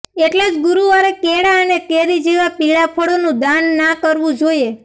એટલે જ ગુરુવારે કેળા અને કેરી જેવા પીળા ફળોનું દાન ના કરવું જોઈએ